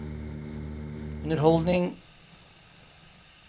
underholdning